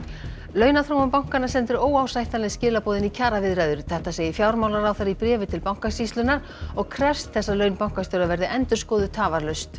launaþróun bankanna sendir óásættanleg skilaboð inn í kjaraviðræður þetta segir fjármálaráðherra í bréfi til Bankasýslunnar og krefst þess að laun bankastjóra verði endurskoðuð tafarlaust